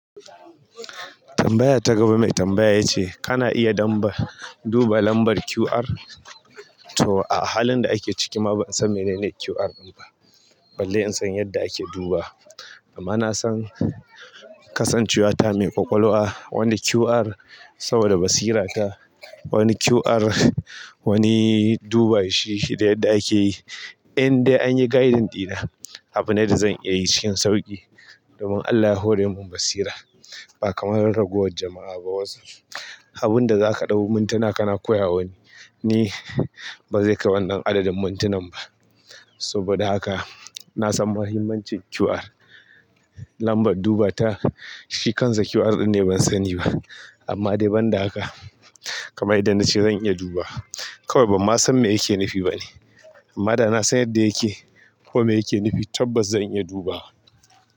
Tambaya ta gaba mai tambaya ya ce kana iya duba lambar QR to a halin da ake ciki ma ban san menene QR ɗin ba balle in san yadda ake duba, amma na san kasancewata mai ƙwaƙwalwa wanda QR saboda basira ta wani QR wani duba shi da yadda ake yi. In dai an yi gaidin ɗina, abine da zan iya yi cikin sauƙi domin Allah ya hore mun basira ba kamar ragowar jama'a ba wasu. Abun da za ka ɗau mintuna kana koya wa wani, ni ba zai kai wannan adadin mintunan ba. Saboda haka na san mahimmancin QR lambar duba ta shi kansa QR ɗin ne ban sani ba amma dai banda haka kamar yadda nace zan iya dubawa kawai banma san me yake nufi ba ne amma da na san yadda yake ko me yake nufi tabbas zan iya dubawa.